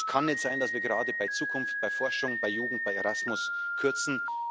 Es kann nicht sein, dass wir gerade bei Zukunft, bei Forschung, bei Jugend, bei Erasmus kürzen.